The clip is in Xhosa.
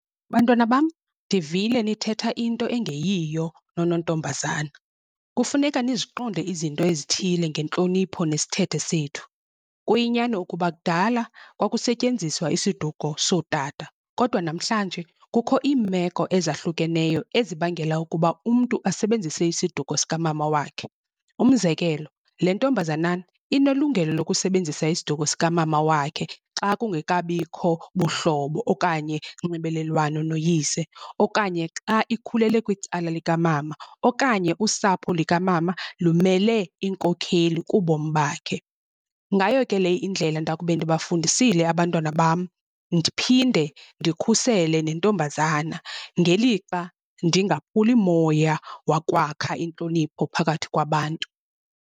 Bantwana bam, ndivile nithetha into engeyiyo nonontombazana, kufuneka niziqonde izinto ezithile ngentlonipho nesithethe sethu. Kuyinyani ukuba kudala kwakusetyenziswa isiduko sootata, kodwa namhlanje kukho iimeko ezahlukeneyo ezibangela ukuba umntu asebenzise isiduko sikamama wakhe. Umzekelo, le ntombazanana inelungelo lokusebenzisa isiduko sikamama wakhe xa kungekabikho buhlobo okanye nxibelelwano noyise, okanye xa ikhulele kwicala likamama okanye usapho likamama lumele iinkokheli kubomi bakhe. Ngayo ke le indlela ndakube ndibafundisile abantwana bam ndiphinde ndikhusele nentombazana ngelixa ndingaphuli moya wakwakha intlonipho phakathi kwabantu.